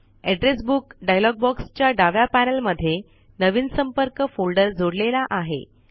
address book dialog box च्या डाव्या panel मध्ये नवीन संपर्क फोल्डर जोडलेला आहे